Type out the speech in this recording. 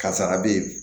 Karisara be ye